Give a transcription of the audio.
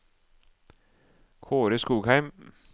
Kaare Skogheim